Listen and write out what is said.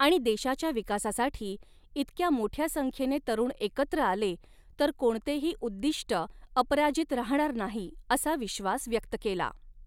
आणि देशाच्या विकासासाठी इतक्या मोठ्या संख्येने तरुण एकत्र आले तर कोणतेही उद्दिष्ट अपराजित राहणार नाही, असा विश्वास व्यक्त केला.